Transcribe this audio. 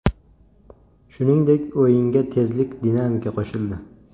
Shuningdek, o‘yinga tezlik, dinamika qo‘shildi.